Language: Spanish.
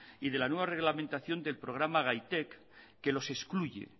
y de la nueva reglamentación del programa gaitek que los excluye